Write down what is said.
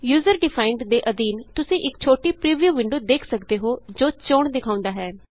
user defined ਦੇ ਅਧੀਨ ਤੁਸੀਂ ਇਕ ਛੋਟੀ ਪ੍ਰੀਵਿਊ ਵਿੰਡੋ ਦੇਖ ਸਕਦੇ ਹੋ ਜੋ ਚੋਣ ਦਿਖਾਉਂਦਾ ਹੈ